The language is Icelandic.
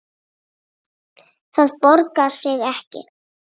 Það borgar sig ekki